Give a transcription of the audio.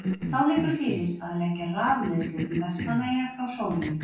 Þá liggur fyrir að leggja rafleiðslu til Vestmannaeyja frá Soginu.